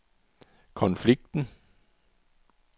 konflikten